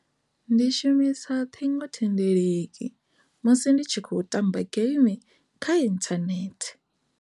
Ndi shumisa ṱhingothendeleki musi ndi tshi khou tamba game kha inthanethe.